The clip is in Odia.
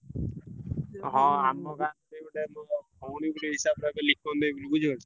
ହଁ ଆମ ଗାଁରେ ଭଉଣୀ ଗୋଟେ ହିସାବରେ ହେବେ ଲିପନ୍ ଦେଇ ବୋଲି ବୁଝିପାରୁଛ?